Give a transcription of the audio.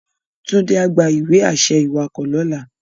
Tunde á gbá iwe-ašẹ iwákò lòlá